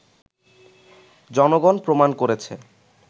জনগণ প্রমাণ করেছে